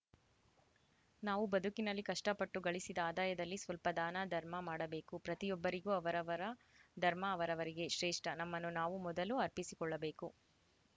ನಾವು ಬದುಕಿನಲ್ಲಿ ಕಷ್ಟಪಟ್ಟು ಗಳಿಸಿದ ಆದಾಯದಲ್ಲಿ ಸ್ವಲ್ಪ ದಾನ ಧರ್ಮ ಮಾಡಬೇಕು ಪ್ರತಿಯೊಬ್ಬರಿಗೂ ಅವರವರ ಧರ್ಮ ಅವರವರಿಗೆ ಶ್ರೇಷ್ಠ ನಮ್ಮನ್ನು ನಾವು ಮೊದಲು ಅರ್ಪಿಸಿಕೊಳ್ಳಬೇಕು